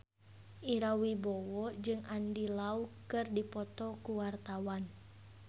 Ira Wibowo jeung Andy Lau keur dipoto ku wartawan